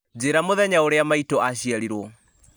njĩra mũthenya ũrĩa maitũ aciarirwo